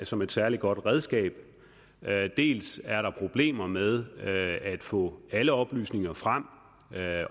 som et særlig godt redskab dels er der problemer med at få alle oplysninger frem